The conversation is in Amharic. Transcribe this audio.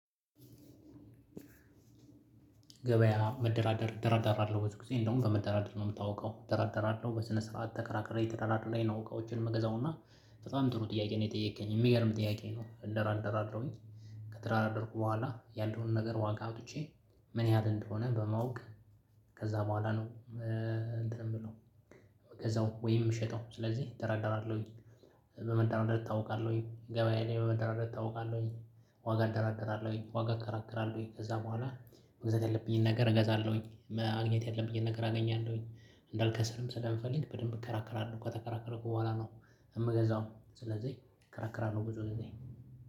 ገበያ መደራደር እደራደራለሁ ብዙ ጊዜ እንደውም በመደራደር ነው የምታውቀው እደራደራለሁ በስነ ስርዓት ተከራክሬ ተደራድሬ ነው እቃወችን የምገዛው እና በጣም ጥሩ ጥያቄ ነው የጠየከኝ የሚገርም ጥያቄ ነው። እደራደራለሁ ከተደራደርኩ በኋላ ያልነውን ነገር ዋጋ አውጥቼ ምን ያህል እንደሆነ በማወቅ ከዛ በኋላ ነው እንትን የምለው ምገዛው ወይም ምሽጠው ስለዚህ እደራራለሁኝ። በመደራደር እታውቃለሁኝ ገበያ ላይ በመደራደር እታውቃለሁኝ ዋጋ እደራደራለሁኝ ዋጋ እከራከራለሁኝ ከዛ በኋላ መግዛት የለብኝም። ነገር እገዛለሁኝ ማግኘት ያለብኝን ነገር አገኛለሁኝ እንዳልከስርም ስለምፈልግ በደንብ እከራከራለሁ ከተከራከረን በኋላ ነው የምገዛው። ስለዚህ እከራከራለሁ ብዙ ጊዜ